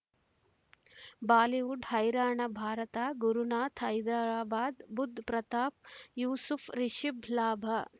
Bollywood ಹೈರಾಣ ಭಾರತ ಗುರುನಾಥ ಹೈದರಾಬಾದ್ ಬುಧ್ ಪ್ರತಾಪ್ ಯೂಸುಫ್ ರಿಷಬ್ ಲಾಭ